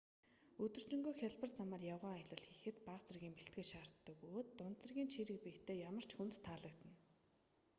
өдөржингөө хялбар замаар явган аялал хийхэд бага зэргийн бэлтгэл шаарддаг бөгөөд дунд зэргийн чийрэг биетэй ямар ч хүнд таалагдана